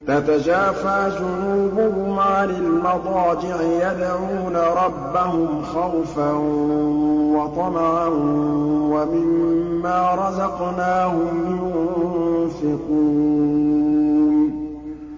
تَتَجَافَىٰ جُنُوبُهُمْ عَنِ الْمَضَاجِعِ يَدْعُونَ رَبَّهُمْ خَوْفًا وَطَمَعًا وَمِمَّا رَزَقْنَاهُمْ يُنفِقُونَ